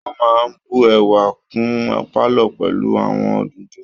Wọ́n máa ń bu ẹwà kún pálọ̀ pẹ̀lú àwọn òdòdó